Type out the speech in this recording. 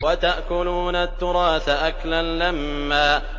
وَتَأْكُلُونَ التُّرَاثَ أَكْلًا لَّمًّا